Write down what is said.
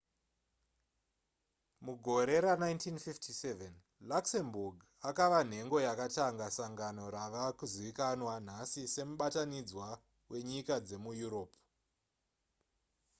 mugore ra1957 luxembourg akava nhengo yakatanga sangano rave kuzivikanwa nhasi semubatanidzwa wenyika dzemuyuropu